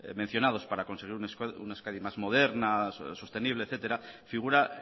mencionados para conseguir una euskadi más moderna sostenible etcétera figura